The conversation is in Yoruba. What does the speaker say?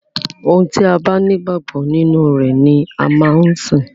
Ohun tí a bá ní ìgbàgbọ nínú rẹ̀ ni a máa ń sìn.